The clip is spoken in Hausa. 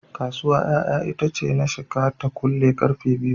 Kasuwa ƴaƴa itace na shika ta kule karfe 2pm.